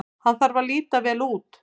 Hann þarf að líta vel út.